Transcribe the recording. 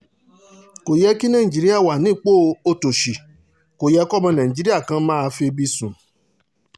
kò yẹ kí nàìjíríà wà nípò òtòṣì kó yẹ kọ́mọ nàìjíríà kan máa febi sùn